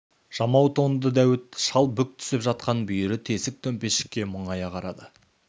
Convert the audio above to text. жамау тонды дәуіт шал бүк түсіп жатқан бүйірі тесік төмпешікке мұңая қарады